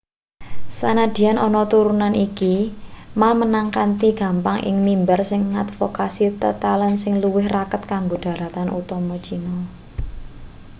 sanadyan ana turuhan iki ma menang kanthi gampang ing mimbar sing ngadvokasi tetalen sing luwih raket karo dharatan utama china